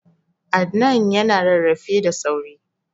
Adnan ya na rarrafe da sauri